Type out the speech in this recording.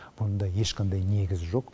бұнда ешқандай негіз жоқ